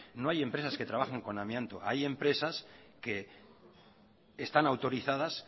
no hay empresas que trabajan con amianto hay empresas que están autorizadas